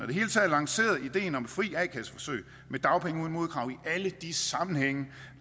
det hele taget lanceret ideen om et fri a kasse forsøg med dagpenge uden modkrav i alle de sammenhænge